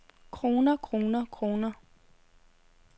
kroner kroner kroner